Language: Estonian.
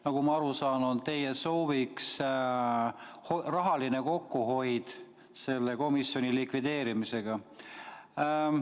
Nagu ma aru saan, on teie sooviks rahaline kokkuhoid selle komisjoni likvideerimisega.